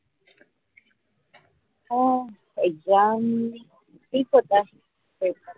हो exam ठीक होता.